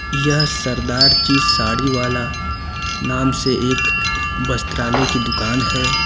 यह सरदार जी साड़ी वाला नाम से एक वस्त्रालय की दुकान है।